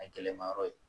A gɛlɛma yɔrɔ ye